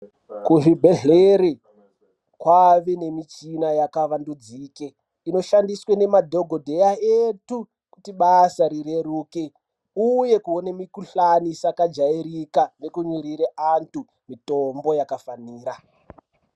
Kuzvibhedhleri kwave nemichina yakavambidzike inoshandiswe nemadhokodheya edu kutibasa rireruke, uye kuwone mikhuhlane isakajayirika nekumirire antu mitombo yakafanira.